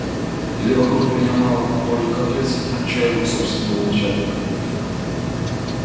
или вокруг меня мало поклонников вьётся включая его собственного начальника